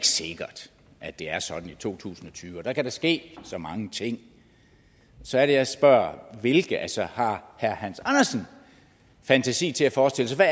sikkert at det er sådan i to tusind og tyve og at der da kan ske så mange ting så er det jeg spørger hvilke altså har herre hans andersen fantasi til forestille sig